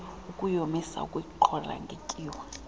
ukuyomisa ukuyiqhola ngetyiwa